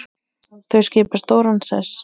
Þau skipa stóran sess.